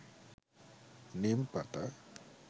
নীম পাতা